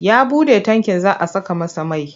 Ya buɗe tankin za a saka masa mai.